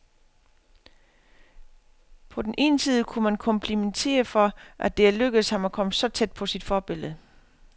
På den ene side kunne man komplimentere for, at det er lykkedes ham at komme så tæt på sit forbillede.